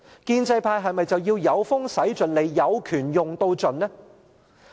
建制派是否要"有風駛盡 𢃇， 有權用到盡"？